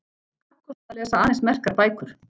Kappkosta að lesa aðeins merkar bækur.